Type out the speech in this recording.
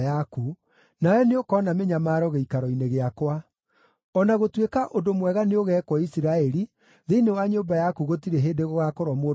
nawe nĩũkona mĩnyamaro gĩikaro-inĩ gĩakwa. O na gũtuĩka ũndũ mwega nĩũgeekwo Isiraeli, thĩinĩ wa nyũmba yaku gũtirĩ hĩndĩ gũgaakorwo mũndũ mũkũrũ.